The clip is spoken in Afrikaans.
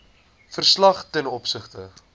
verslag ten opsigte